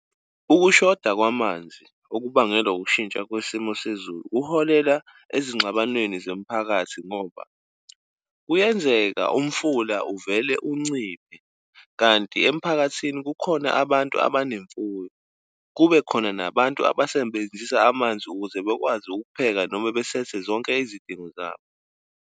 Ukushoda kwamanzi okubangela ukushintsha kwesimo sezulu uholela ezingxabanweni zemiphakathi, ngoba kuyenzeka umfula uvele unciphe. Kanti emphakathini kukhona abantu abanemfuyo, kube khona nabantu abasebenzisa amanzi ukuze bekwazi ukupheka noma besethe zonke izidingo zabo.